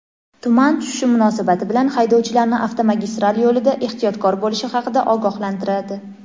tuman tushishi munosabati bilan haydovchilarni avtomagistral yo‘lida ehtiyotkor bo‘lishi haqida ogohlantiradi.